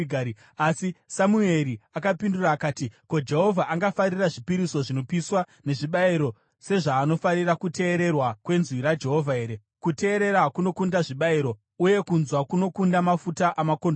Asi Samueri akapindura akati, “Ko, Jehovha angafarira zvipiriso zvinopiswa nezvibayiro sezvaanofarira kuteererwa kwenzwi raJehovha here? Kuteerera kunokunda chibayiro, uye kuteerera kunokunda mafuta amakondobwe.